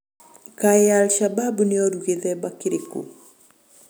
Kaĩ al-shabab nĩorũ gĩthemba kĩrĩkũ?